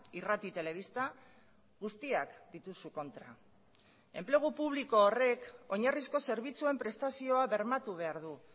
irrati telebista guztiak dituzu kontra enplegu publiko horrek oinarrizko zerbitzuen prestazioa bermatu behar du